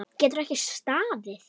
Getur ekki staðið.